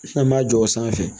N'an m'a jɔ o sanfɛ